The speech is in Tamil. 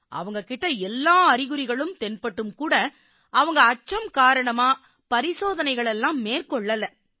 அவங்க கிட்ட எல்லா அறிகுறிகளும் தென்பட்டும் கூட அவங்க அச்சம் காரணமா பரிசோதனைகளை மேற்கொள்ளலை